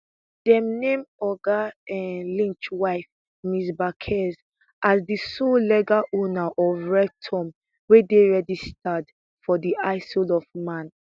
dem name oga um lynch wife ms bacares as di sole legal owner of revtom wey dey registered for di isle of man